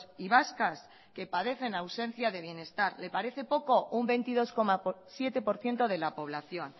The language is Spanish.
y vascas que padecen ausencia de bienestar le parece poco un veintidós coma siete por ciento de la población